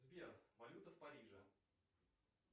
сбер валюта в париже